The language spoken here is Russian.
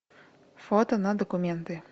фото на документы